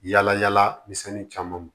Yala yala misɛnnin caman